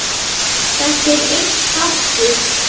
Þetta er einn þáttur.